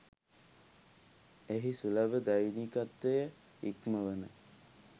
එහි සුලබ දෛනිකත්වය ඉක්මවන